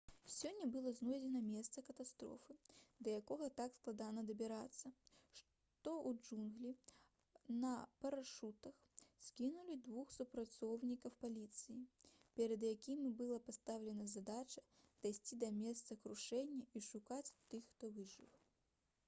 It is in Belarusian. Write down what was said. сёння было знойдзена месца катастрофы да яго так складана дабірацца што ў джунглі на парашутах скінулі двух супрацоўнікаў паліцыі перад якімі была пастаўлена задача дайсці да месца крушэння і шукаць тых хто выжыў